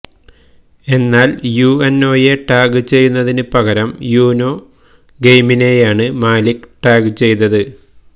എന്നാൽ യുഎൻഒയെ ടാഗ് ചെയ്യുന്നതിന് പകരം യൂനോ ഗെയിമിനെയാണ് മാലിക് ടാഗ് ചെയ്തത്